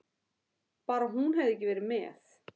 Bara hún hefði ekki verið með.